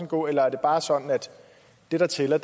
gå eller er det bare sådan at det der tæller